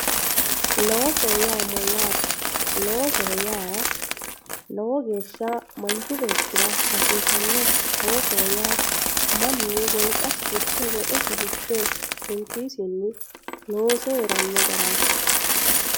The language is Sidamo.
Loosoho yaa mayyate, loosoho yaa lowo geeshsha manchi beettira hasiisanoho loosoho yaa mannu wolqasi fushe woxesi fushe hunkisinni loose heerano garati.